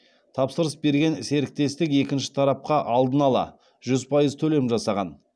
тапсырыс берген серіктестік екінші тарапқа алдын ала жүз пайыз төлем жасаған